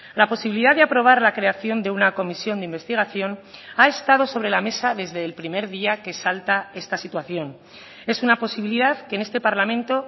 la posibilidad de aprobar la creación de una comisión de investigación ha estado sobre la mesa desde el primer día que salta esta situación es una posibilidad que en este parlamento